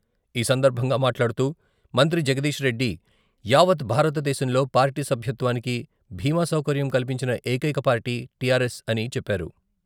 ఈ సందర్భంగా మాట్లాడుతూ మంత్రి జగదీష్ రెడ్డి యావత్ భారతేశంలో పార్టీ సభ్యత్వానికి భీమా సౌకర్యం కల్పించిన ఏకైక పార్టీ టిఆర్ఎస్ అని చెప్పారు.